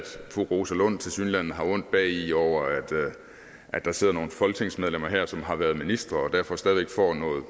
fru rosa lund tilsyneladende har ondt bagi over at der sidder nogle folketingsmedlemmer her som har været ministre og som derfor stadig væk får nogle